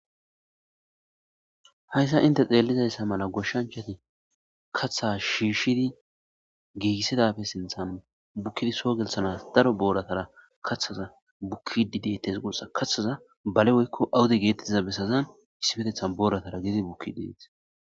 Haysa inte xeelizaysa mala goshanchati kathaza shiishidi gigisidappe sinthan